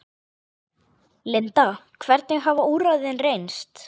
Linda, hvernig hafa úrræðin reynst?